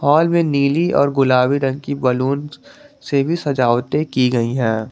Hall में नीली और गुलाबी रंग की बैलून से भी सजावटें की गई है।